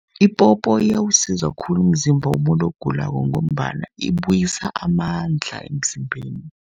Ipopo iyawusiza khulu umzimba womuntu ogulako, ngombana ibuyisa amandla emzimbeni.